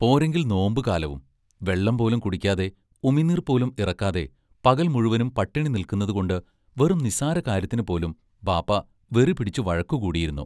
പോരെങ്കിൽ നോമ്പുകാലവും വെള്ളം പോലും കുടിക്കാതെ, ഉമിനീർ പോലും ഇറക്കാതെ, പകൽ മുഴുവനും പട്ടിണി നില്ക്കുന്നതുകൊണ്ട്‌ വെറും നിസ്സാരകാര്യത്തിനു പോലും ബാപ്പാ വെറിപിടിച്ചു വഴക്കുകൂടിയിരുന്നു.